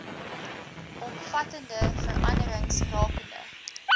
omvattende veranderings rakende